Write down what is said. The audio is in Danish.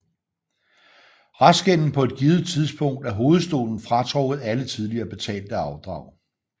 Restgælden på et givet tidspunkt er hovedstolen fratrukket alle tidligere betalte afdrag